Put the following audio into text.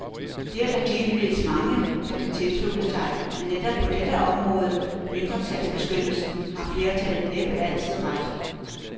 Det er der givetvis mange, der kan tilslutte sig, men netop på dette område, mindretalsbeskyttelsen, har flertallet næppe altid ret.